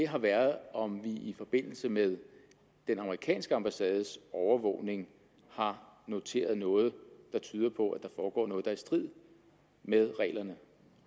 har været om vi i forbindelse med den amerikanske ambassades overvågning har noteret noget der tyder på at der foregår noget der er i strid med reglerne